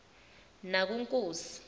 nakunkosi